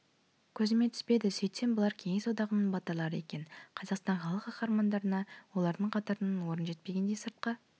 көзіме түспеді сөйтсем бұлар кеңес одағының батырлары екен қазақстан халық қаһармандарына олардың қатарынан орын жетпегендей сыртқа